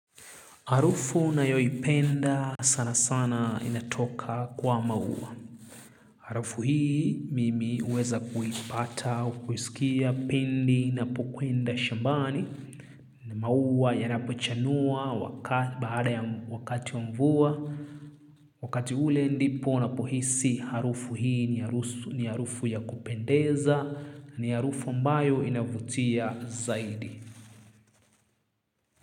Harufu na yoi penda sana sana inatoka kwa maua. Harufu hii mimi huweza kuipata, kuhisikia pindi na pokuenda shambani. Ni maua yanapochanua baada ya wakati wa mvua. Wakati ule ndipo na pohisi harufu hii ni harufu ya kupendeza. Ni harufu mbayo inavutia zaidi.